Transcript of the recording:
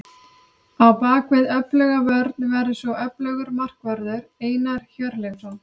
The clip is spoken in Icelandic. Á bakvið öfluga vörn verður svo öflugur markvörður, Einar Hjörleifsson.